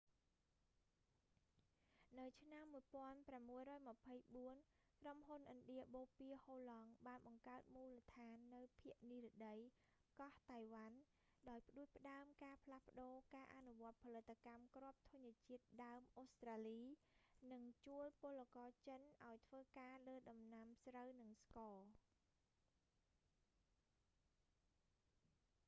នៅឆ្នាំ 1624 ក្រុមហ៊ុនឥណ្ឌាបូព៌ាហូឡង់បានបង្កើតមូលដ្ឋាននៅភាគនិរតីកោះតៃវ៉ាន់ ដោយផ្តួចផ្តើមការផ្លាស់ប្តូរការអនុវត្តផលិតកម្មគ្រាប់ធញ្ញជាតិដើមអូស្ត្រាលី និងជួលពលករចិនឱ្យធ្វើការលើដំណាំស្រូវ និងស្ករ